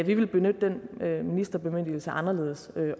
vi vil benytte den ministerbemyndigelse anderledes